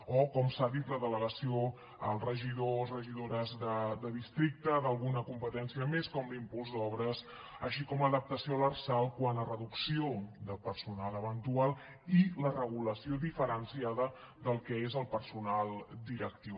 o com s’ha dit la delegació als regidors o regidores de districte d’alguna competència més com l’impuls d’obres així com l’adaptació a l’lrsal quant a reducció de personal eventual i la regulació diferenciada del que és el personal directiu